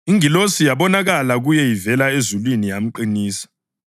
Ingilosi yabonakala kuye ivela ezulwini yamqinisa.